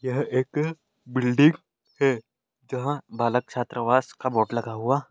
यह एक बिल्डिंग है जहाँ बालक छात्रावास का बोर्ड लगा हुआ--